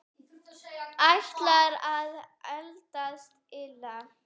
Ætlar að eldast illa.